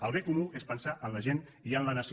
el bé comú és pensar en la gent i en la nació